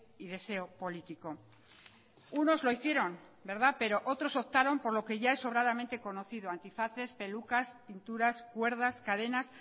y deseo político unos lo hicieron verdad pero otros optaron por lo que ya es sobradamente conocido antifaces pelucas pinturas cuerdas cadenas